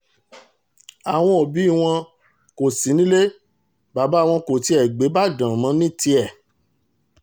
àwọn òbí wọn kò sí nílé bàbá wọn kò tiẹ̀ gbé ìbàdàn mọ́ ní tiẹ̀